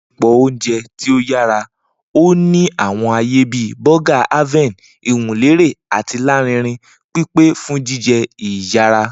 Ni isẹpo oúnjẹ ti o yara, o ni àwọn aaye bi Burger Haven, iwunlere ati larinrin, pipe fun jijẹ iyara.